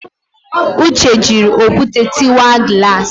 Uche jịrị okwute tịwa glass